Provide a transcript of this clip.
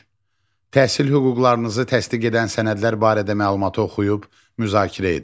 Üç, təhsil hüquqlarınızı təsdiq edən sənədlər barədə məlumatı oxuyub müzakirə edin.